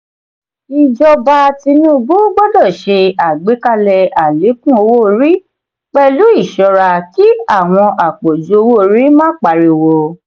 ìjọba tinubu gbọdọ ṣe àgbékalẹ̀ alekun owó-orí pẹlu ìṣora kí àwon apọju owó-orí má pariwo.